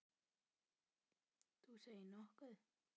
Þú segir nokkuð.